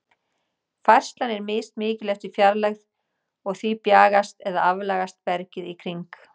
Færslan er mismikil eftir fjarlægð, og því bjagast eða aflagast bergið í kring.